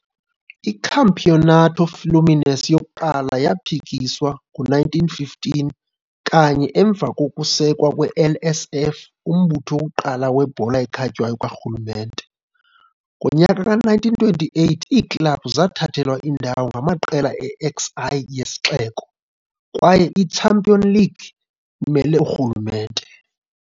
I-Campeonato Fluminense yokuqala yaphikiswa ngo-1915, kanye emva kokusekwa kwe-LSF, umbutho wokuqala webhola ekhatywayo karhulumente. Ngonyaka ka1928 iiklabhu zathathelwa indawo ngamaqela e-XI yesixeko, kwaye i-champion league imele urhulumente.